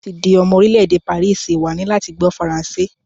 Láti di omo orílé èdè pàríìsì, wà á ní láti gbó faransé.